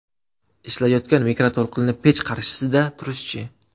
Ishlayotgan mikroto‘lqinli pech qarshisida turish-chi?